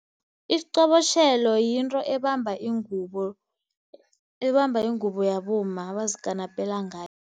Isiqobotjhelo yinto ebamba ingubo, ebamba ingubo yabomma abazikanapela ngayo.